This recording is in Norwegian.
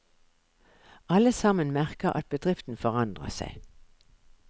Alle sammen merker at bedriften forandrer seg.